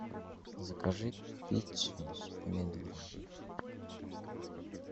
закажи пиццу с помидорами